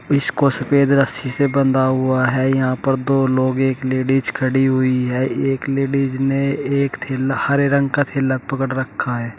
इसको सफेद रस्सी से बंधा हुआ है यहां पर दो लोग एक लेडिस खड़ी हुई है एक लेडिस ने एक थैला हरे रंग का थैला पकड़ रखा है।